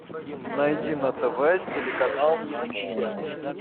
найди на тв телеканал наша тема